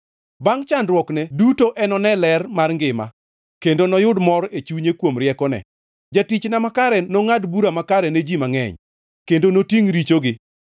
Bangʼ chandruokne duto enone ler mar ngima kendo noyud mor e chunye; kuom riekone, jatichna makare nongʼad bura makare ne ji mangʼeny kendo notingʼ richogi.